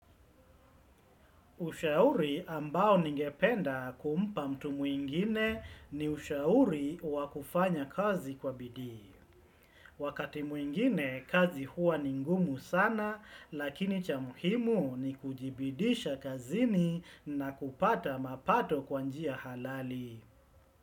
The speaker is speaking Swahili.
Ushauri ambao ningependa kumpa mtu mwingine ni ushauri wakufanya kazi kwa bidii. Wakati mwingine kazi huwa ningumu sana lakini cha muhimu ni kujibidisha kazini na kupata mapato kwanjia halali.